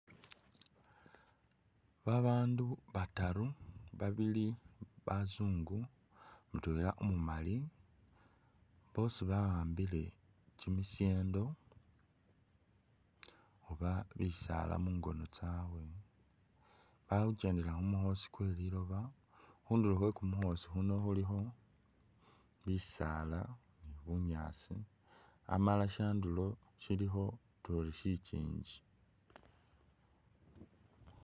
Babandu bataru, babili bazungu, mutwela umumali, bosi ba'ambile kyimishendo oba bisaala mungono tsabwe, bakhukyendela khumukhosi kwe liloba, khundulo Khwe kumukosi huno khulikho bisaala ni bunyaasi amala shyandulo shilikho utuya ori shikyinji